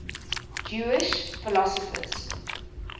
jewish philosophers